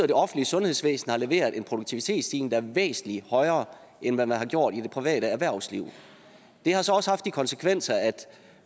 det offentlige sundhedsvæsen har leveret en produktivitetsstigning væsentlig højere end hvad man har gjort i det private erhvervsliv det har så også haft de konsekvenser at